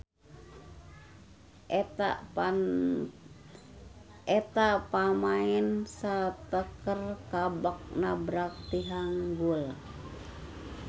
Eta pamaen sateker kebek nabrak tihang gul.